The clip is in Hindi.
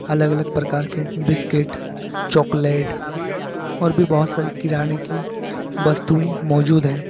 अलग अलग प्रकार के बिस्कुट चॉकलेट और भी बहुत सारी किराने की वस्तुएं मौजूद है।